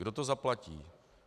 Kdo to zaplatí?